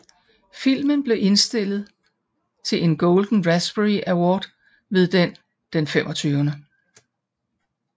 Filmen blev tillige indstillet til en Golden Raspberry Award ved den Den 25